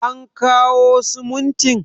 an kawo simuntin?